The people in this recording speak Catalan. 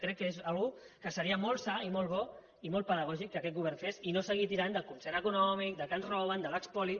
crec que és una cosa que seria molt sa i molt bo i molt pedagògic que aquest govern la fes i no seguir tirant del concert econòmic que ens roben de l’espoli